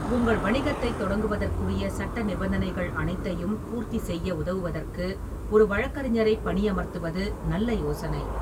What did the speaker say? உங்கள் வணிகத்தைத் தொடங்குவதற்குரிய சட்ட நிபந்தனைகள் அனைத்தையும் பூர்த்திசெய்ய உதவுவதற்கு ஒரு வழக்கறிஞரைப் பணியமர்த்துவது நல்ல யோசனை.